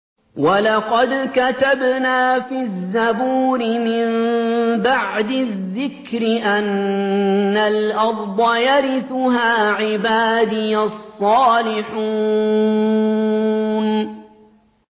وَلَقَدْ كَتَبْنَا فِي الزَّبُورِ مِن بَعْدِ الذِّكْرِ أَنَّ الْأَرْضَ يَرِثُهَا عِبَادِيَ الصَّالِحُونَ